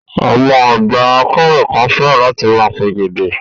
Àwọn àgbà akéwì kan fẹ́ràn láti máa pègèdè.